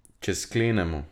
Če sklenemo.